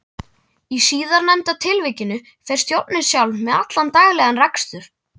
Í síðarnefnda tilvikinu fer stjórnin sjálf með allan daglegan rekstur.